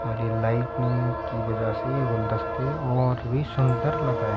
हरी lightning के वजह से ये गुलदस्ते और और भि सुदर लग रहे है ।